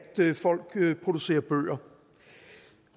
folk producerer bøger